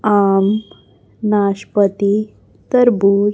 आम नाशपाती तरबूज।